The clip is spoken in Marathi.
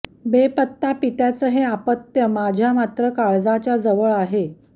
बेपत्ता पित्याचं हे अपत्य माझ्या मात्र काळजाच्या जवळ आहे